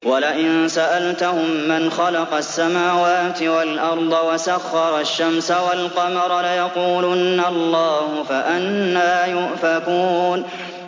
وَلَئِن سَأَلْتَهُم مَّنْ خَلَقَ السَّمَاوَاتِ وَالْأَرْضَ وَسَخَّرَ الشَّمْسَ وَالْقَمَرَ لَيَقُولُنَّ اللَّهُ ۖ فَأَنَّىٰ يُؤْفَكُونَ